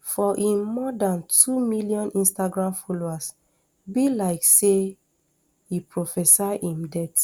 for im more dan two million instagram followers be like say e prophesy im death